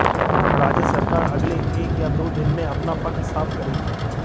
राज्य सरकार अगले एक या दो दिन में अपना पक्ष साफ करेगी